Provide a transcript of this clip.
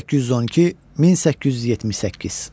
1812-1878.